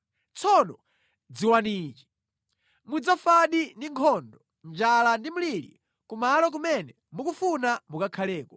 Tsono dziwani ichi: mudzafadi ndi nkhondo, njala ndi mliri kumalo kumene mukufuna mukakhaleko.”